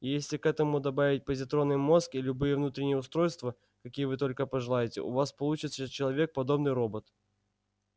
и если к этому добавить позитронный мозг и любые внутренние устройства какие вы только пожелаете у вас получится человек подобный робот